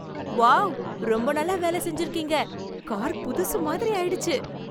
Wow! ரொம்ப நல்லா வேலை செஞ்சிருக்கீங்க. கார் புதுசு மாதிரி ஆயிடுச்சு!